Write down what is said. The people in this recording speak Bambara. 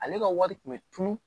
Ale ka wari kun bɛ tunun